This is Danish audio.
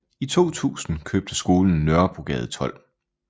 I 2000 købte skolen Nørrebrogade 12